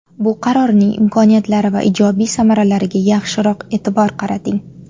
Bu qarorning imkoniyatlari va ijobiy samaralariga yaxshiroq e’tibor qarating.